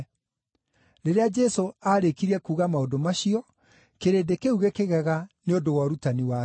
Rĩrĩa Jesũ aarĩkirie kuuga maũndũ macio, kĩrĩndĩ kĩu gĩkĩgega nĩ ũndũ wa ũrutani wake,